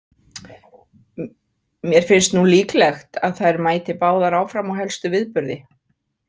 Mér finnst nú líklegt að þær mæti báðar áfram á helstu viðburði.